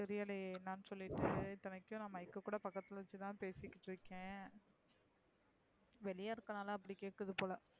தெரியலையே என்னனு சொல்லிட்டு இத்தனைக்கும் mic கூட பக்கத்துல வச்சு தான் பேசிட்டு இருக்கேன். வெளிய இருக்குற நாலா அப்டி கேக்குது போல.